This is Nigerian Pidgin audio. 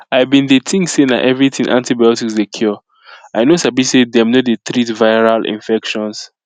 i been dey think say na everything antibiotics dey cure i no sabi say them no dey treat viral infections